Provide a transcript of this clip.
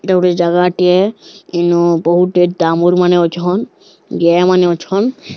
ଏଇଟା ଗୋଟେ ଜାଗା ଟିଏ ଏନ ବହୁତ ଡାମୁର ମାନେ ଅଛନ୍ ଜୟା ମାନେ ଅଛନ୍।